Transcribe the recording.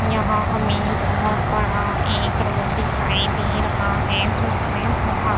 यहाँ हमें बहोत बड़ा एक रोड दिखाई दे रहा है जिसमें बहोत --